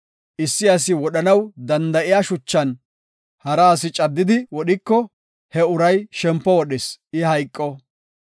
Issi asi wodhanaw danda7iya shuchan hara asi caddidi wodhiko he uray shempo wodhis; I hayqo.